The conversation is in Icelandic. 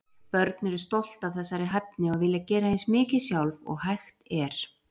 Börn eru stolt af þessari hæfni og vilja gera eins mikið sjálf og hægt er.